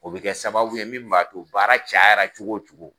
O bɛ kɛ sababu ye min b'ato baara cayara cogo o cogo.